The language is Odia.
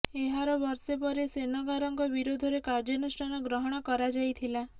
ଏହାର ବର୍ଷେ ପରେ ସେନଗାରଙ୍କ ବିରୋଧରେ କାର୍ଯ୍ୟାନୁଷ୍ଠାନ ଗ୍ରହଣ କରାଯାଇଥିଲା